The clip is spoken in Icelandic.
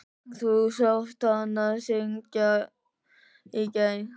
Þú sást hana syngja í gær.